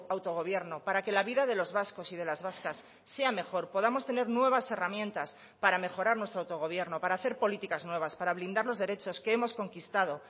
autogobierno para que la vida de los vascos y de las vascas sea mejor podamos tener nuevas herramientas para mejorar nuestro autogobierno para hacer políticas nuevas para blindar los derechos que hemos conquistado